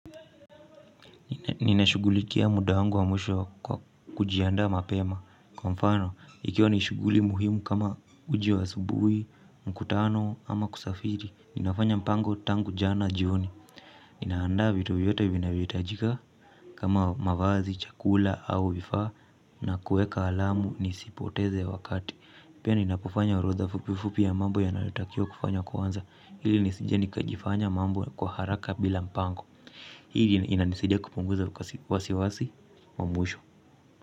Nina shugulikia muda wangu wa mwisho kwa kujiandaa mapema. Kwa mfano, ikiwa ni shughuli muhimu kama uji wa asubuhi, mkutano ama kusafiri ninafanya mpango tangu jana jioni. Ninaandaa vitu yote vinavyohitajika kama mavazi, chakula au vifaa na kuweka alamu nisipoteze wakati. Pia ninapofanya orodha fupifupi ya mambo yanayotakiwa kufanya kwanza. Hili nisije nikajifanya mambo kwa haraka bila mpango. Hili linanisidia kupunguza wasiwasi. Wa mwisho.